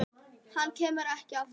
Hann kemur ekki aftur.